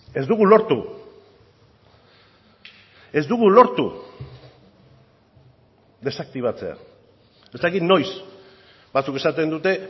ez dugu lortu ez dugu lortu desaktibatzea ez dakit noiz batzuk esaten dute